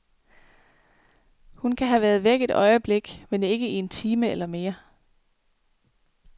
Hun kan have været væk et øjeblik, men ikke i en time eller mere.